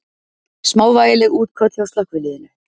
Smávægileg útköll hjá slökkviliðinu